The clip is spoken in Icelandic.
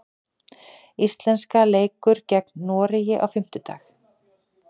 Íslenska leikur gegn Noregi á fimmtudag.